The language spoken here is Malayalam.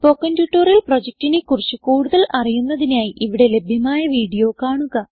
സ്പോകെൻ ട്യൂട്ടോറിയൽ പ്രൊജക്റ്റിനെ കുറിച്ച് കൂടുതൽ അറിയുന്നതിനായി ഇവിടെ ലഭ്യമായ വീഡിയോ കാണുക